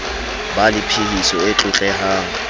ba le phehiso e tlotlehang